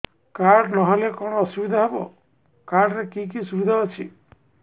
card ନହେଲେ କଣ ଅସୁବିଧା ହେବ କାର୍ଡ ରେ କି କି ସୁବିଧା ଅଛି